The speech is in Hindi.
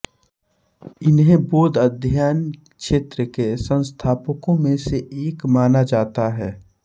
इन्हें बौद्ध अध्ययन क्षेत्र के संस्थापकों में से एक माना जाता है